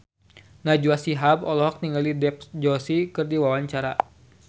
Najwa Shihab olohok ningali Dev Joshi keur diwawancara